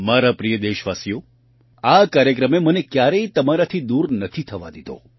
મારા પ્રિય દેશવાસીઓ આ કાર્યક્રમે મને ક્યારેય તમારાથી દૂર નથી થવા દીધો